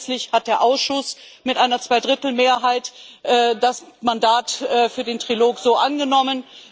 Grundsätzlich hat der Ausschuss mit einer Zweidrittelmehrheit das Mandat für den Trilog so angenommen.